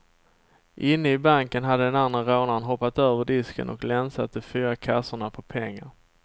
Inne i banken hade den andre rånaren hoppat över disken och länsat de fyra kassorna på pengar.